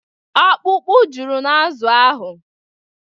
Ọkpụkpụ juru n'azụ ahụ.